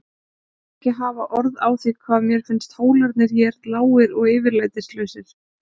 Ég vil ekki hafa orð á því hvað mér finnst hólarnir hér lágir og yfirlætislausir.